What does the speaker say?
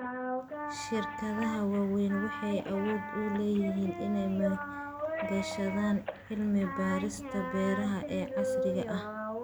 Shirkadaha waaweyni waxay awood u leeyihiin inay maalgashadaan cilmi-baarista beeraha ee casriga ah.